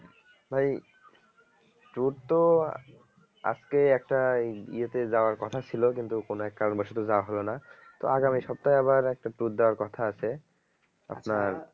ভাই tour তো আজকে একটা এই ইয়েতে যাওয়ার কথা ছিল কিন্তু কোনো এক কারণ বসত যাওয়া হলো না তো আগামী সপ্তাহে আবার আরেকটা tour দেওয়ার কথা আছে আপনার